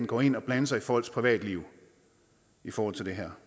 gå ind og blande sig i folks privatliv i forhold til det her